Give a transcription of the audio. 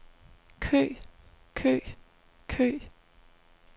kø kø kø